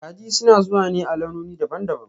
Kaji suna zuwa ne a launoni daban-daban